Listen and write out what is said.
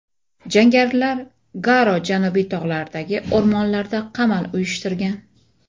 Jangarilar Garo janubiy tog‘laridagi o‘rmonlarda qamal uyushtirgan.